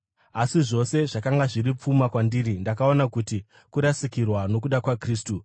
Asi zvose zvakanga zviri pfuma kwandiri, ndakaona kuri kurasikirwa nokuda kwaKristu.